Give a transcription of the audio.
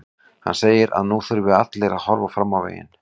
Hann segir að nú þurfi allir að horfa fram veginn.